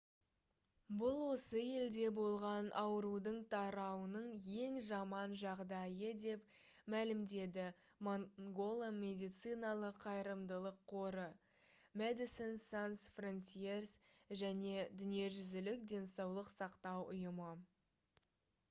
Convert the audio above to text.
бұл осы елде болған аурудың тарауының ең жаман жағдайы деп мәлімдеді mangola медициналық қайырымдылық қоры medecines sans frontieres және дүниежүзілік денсаулық сақтау ұйымы